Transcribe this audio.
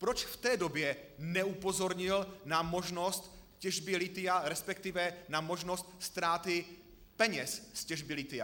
Proč v té době neupozornil na možnost těžby lithia, respektive na možnost ztráty peněz z těžby lithia?